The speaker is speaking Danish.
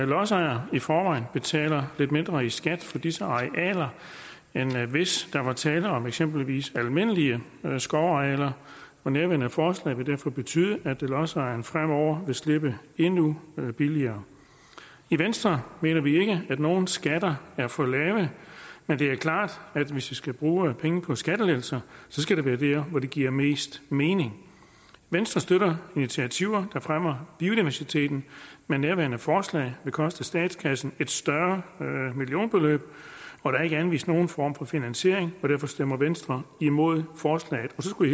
lodsejer i forvejen betaler lidt mindre i skat for disse arealer end hvis der var tale om eksempelvis almindelige skovarealer og nærværende forslag vil derfor betyde at lodsejerne fremover vil slippe endnu billigere i venstre mener vi ikke at nogen skatter er for lave men det er klart at hvis vi skal bruge pengene på skattelettelser skal det være der hvor det giver mest mening venstre støtter initiativer der fremmer biodiversiteten men nærværende forslag vil koste statskassen et større millionbeløb og der er ikke anvist nogen form for finansiering og derfor stemmer venstre imod forslaget så skulle